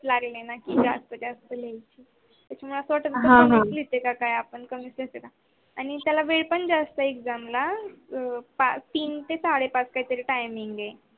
लागले नाही ज्यास्त ज्यास मला अस वाटते आणि त्याला वेळ पण ज्यास्त आहे exam ला तीन ते साडेपाच काहीतरी timing आहे